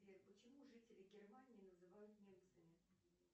сбер почему жителей германии называют немцами